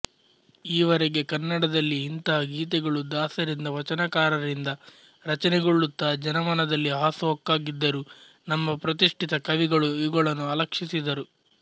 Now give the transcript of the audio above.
ಈವರೆಗೆ ಕನ್ನಡದಲ್ಲಿ ಇಂಥ ಗೀತೆಗಳು ದಾಸರಿಂದ ವಚನಕಾರರಿಂದ ರಚನೆಗೊಳ್ಳುತ್ತ ಜನಮನದಲ್ಲಿ ಹಾಸು ಹೊಕ್ಕಾಗಿದ್ದರೂ ನಮ್ಮ ಪ್ರತಿಷ್ಠಿತ ಕವಿಗಳು ಇವುಗಳನ್ನು ಅಲಕ್ಷಿಸಿದ್ದರು